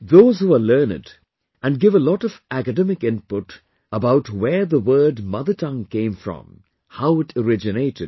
Those who are learned can give a lot of academic input about where the word mother tongue came from, how it originated